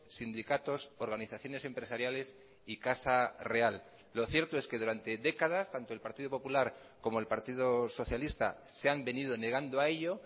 sindicatos organizaciones empresariales y casa real lo cierto es que durante décadas tanto el partido popular como el partido socialista se han venido negando a ello